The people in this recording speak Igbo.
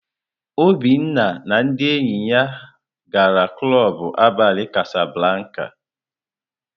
Obinna na ndị enyi ya gara klọb abalị kásáblákà.